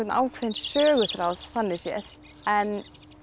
ákveðinn söguþráð þannig séð en